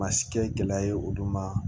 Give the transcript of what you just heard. Ma si kɛ gɛlɛya ye olu ma